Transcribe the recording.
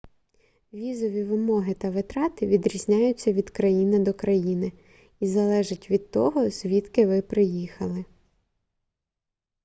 візові вимоги та витрати відрізняються від країни до країни і залежать від того звідки ви приїхали